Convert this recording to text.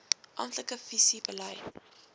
amptelike visie beleid